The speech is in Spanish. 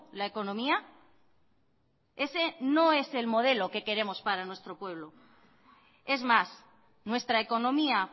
la economía ese no es el modelo que queremos para nuestro pueblo es más nuestra economía